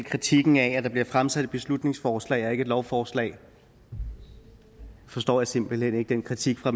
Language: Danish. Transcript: kritikken af at der bliver fremsat et beslutningsforslag og ikke et lovforslag jeg forstår simpelt hen ikke den kritik fra